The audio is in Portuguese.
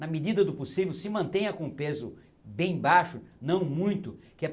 Na medida do possível, se mantenha com o peso bem baixo, não muito. que é